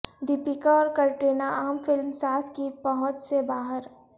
د یپکا اور کٹرینہ عام فلم ساز کی پہنچ سے باہر